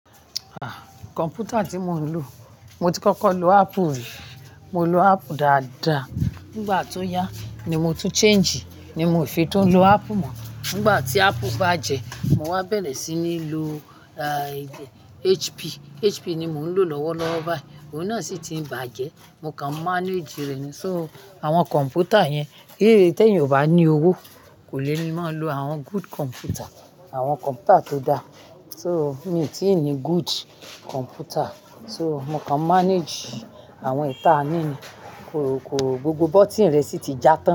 Ah, kọ̀npútà tí mò ń lò, mo ti kọ́kọ́ lò Apple rí. Mo lò Apple dáadáa. Nígbà tó yá ni mo tún change, ni mo fi tún lo Apple mọ́. Nígbà tí Apple bá jẹ, mo wá bẹ̀rẹ̀ sí ní lo, ah, HP. HP ni mò ń lò lọ́wọ́lọ́wọ́ báyìí. Òun náà sì ti bàjẹ́ mo kaan manage rẹ̀ ni so, àwọn kọ̀mpútà yẹn, geere tí èyàn kò bá ní owó, kò le máa lo àwọn good computer, àwọn kọ̀mpútà tó dá. So, mi ò tí ì ní good computer. So, mo kàn manage àwọn èyí ta ni ni. Koò ko, gbogbo button rẹ̀ sì ti já tán.